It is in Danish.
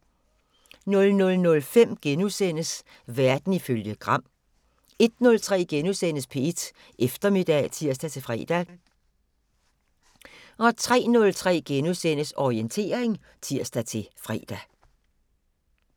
00:05: Verden ifølge Gram * 01:03: P1 Eftermiddag *(tir-fre) 03:03: Orientering *(tir-fre)